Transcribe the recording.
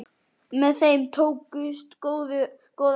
Með þeim tókust góðar ástir.